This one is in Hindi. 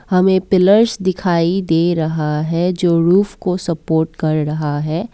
हमें पिलर्स दिखाई दे रहा है जो रूफ़ को सपोर्ट कर रहा है।